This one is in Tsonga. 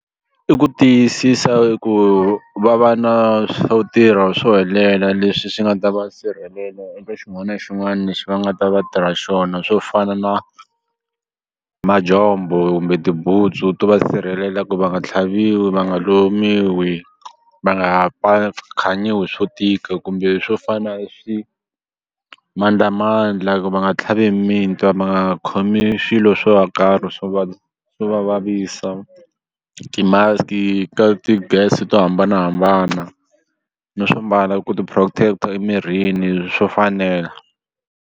I ku tiyisisa ku va va na swo tirha swo helela leswi swi nga ta va sirhelela eka xin'wana na xin'wana lexi va nga ta va tirha xona swo fana na majombho kumbe tibutsu to va sirhelela ku va nga tlhaviwi va nga lumiwi hi va nga ha khanyiwi hi swo tika kumbe swo fana swimandlamandla ku va nga tlhavi mitwa va nga khomi swilo swo karhi swo swo va vavisa ti-mask-i ka ti-gas to hambanahambana no swo mbala ku tiprotect-a emirini swo fanela.